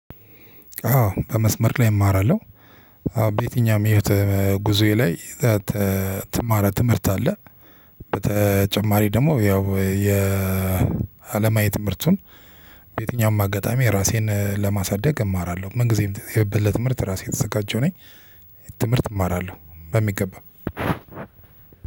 አዎ በመስመር ላይ እማራለሁ። በየትኛውም የህይወት ጉዞዬ ላይ እምትማረው ትምህርት አለ። በተጨማሪ ደግሞ ያው የአለማዊ ትምህርቱን በየትኛውም አጋጣሚ ራሴን ለማሳደግ እማራለሁ። ምን ጊዜም የበለት ለትምህርት ራሴ የተዘጋጀው ነኝ። ትምህርት እማራለሁ በሚገባ።